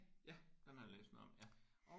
Ja den har jeg læst noget om ja